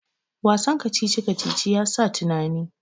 Wasan kacici-kacici ya sa tunani